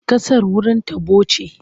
Ƙasar wurin taɓo ce.